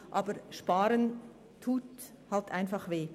Aber Sparen tut halt einfach weh.